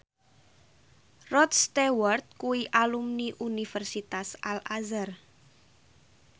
Rod Stewart kuwi alumni Universitas Al Azhar